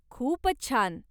खूपच छान.